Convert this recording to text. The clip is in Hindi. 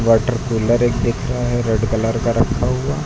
वाटर कूलर एक दिख रहा है रेड कलर का रखा हुआ।